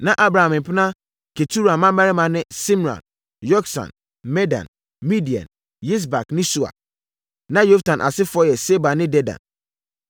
Na Abraham mpena Ketura mmammarima ne Simran, Yoksan, Medan, Midian, Yisbak ne Sua. Na Yoksan asefoɔ yɛ Seba ne Dedan.